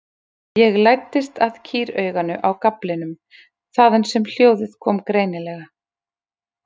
Ég læddist að kýrauganu á gaflinum þaðan sem hljóðið kom greinilega.